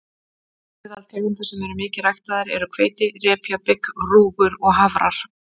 Meðal tegunda sem eru mikið ræktaðar eru hveiti, repja, bygg, rúgur og hafrar.